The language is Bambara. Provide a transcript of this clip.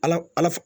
Ala ala f